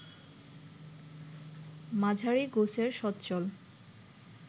মাঝারি গোছের সচ্ছল